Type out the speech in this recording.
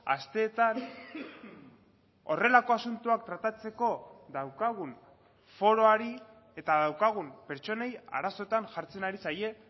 asteetan horrelako asuntoak tratatzeko daukagun foroari eta daukagun pertsonei arazoetan jartzen ari zaie